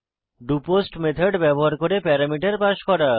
doPost method ব্যবহার করে parameter pass করা